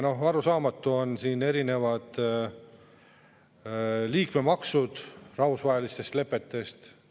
Ja arusaamatud on erinevad liikmemaksud, rahvusvaheliste lepetega.